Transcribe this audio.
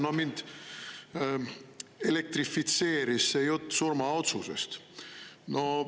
No mind elektrifitseeris see jutt surmaotsusest.